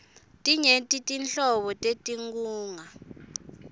tinyenti nhlobo tetinkhunga